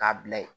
K'a bila ye